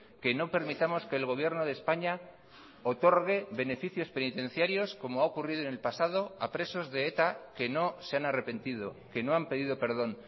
que no permitamos que el gobierno de españa otorgue beneficios penitenciarios como ha ocurrido en el pasado a presos de eta que no se han arrepentido que no han pedido perdón